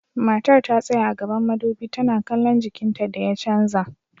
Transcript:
Matar ta tsaya gaban madubi tana kallon jikinta da ya canza.